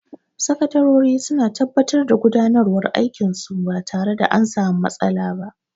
Sakatarori suna tabbatar da gudanarwan aikin su ba tare da an sami matsala ba